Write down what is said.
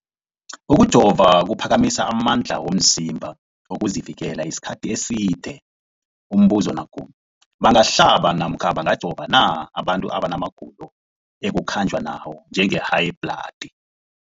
Ukujova kuphakamisa amandla womzimbakho wokuzivikela isikhathi eside. Umbuzo, bangahlaba namkha bangajova na abantu abana magulo ekukhanjwa nawo, njengehayibhladi?